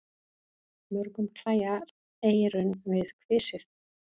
Mörgum klæjar eyrun við kvisið.